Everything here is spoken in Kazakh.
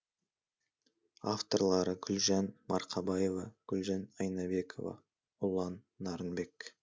авторлары гүлжан марқабаева гүлжан айнабекова ұлан нарынбек